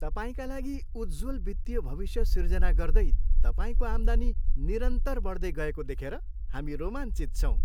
तपाईँका लागि उज्ज्वल वित्तीय भविष्य सिर्जना गर्दै तपाईँको आम्दानी निरन्तर बढ्दै गएको देखेर हामी रोमाञ्चित छौँ!